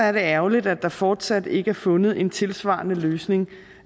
er det ærgerligt at der fortsat ikke er fundet en tilsvarende løsning